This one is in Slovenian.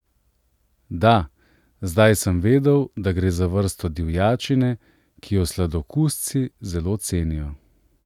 Da, zdaj sem vedel, da gre za vrsto divjačine, ki jo sladokusci zelo cenijo.